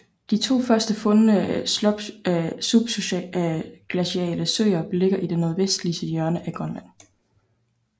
De to først fundne subglaciale søer ligger i det nordvestligste hjørne af Grønland